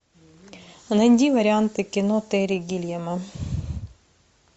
найди варианты кино терри гиллиама